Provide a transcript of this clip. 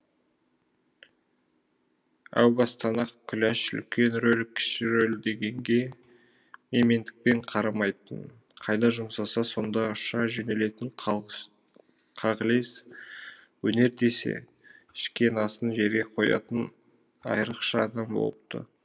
әу бастан ақ күләш үлкен рөл кіші рөл дегенге менмендікпен қарамайтын қайда жұмсаса сонда ұша жөнелетін қағылез өнер десе ішкен асын жерге қоятын айырықша адам болыпты